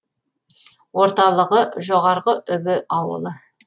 орталығы жоғарғы үбі ауылы